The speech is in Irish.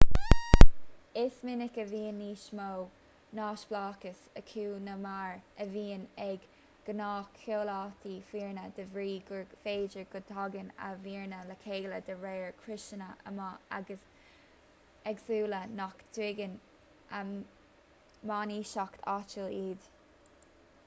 is minic a bhíonn níos mó neamhspleáchais acu ná mar a bhíonn ag gnáthchomhaltaí foirne de bhrí gur féidir go dtagann a bhfoirne le chéile de réir criosanna ama éagsúla nach dtuigeann a mbainistíocht áitiúil iad